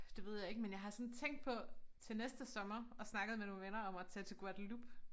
Det ved jeg ikke men jeg har sådan tænkt på til næste sommer og snakket med nogle venner om at tage til Guadeloupe